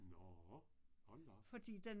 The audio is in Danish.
Nåh. Hold da op